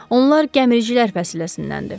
Onlar gəmiricilər fəsiləsindəndir.